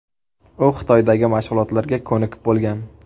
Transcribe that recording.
U Xitoydagi mashg‘ulotlarga ko‘nikib bo‘lgan.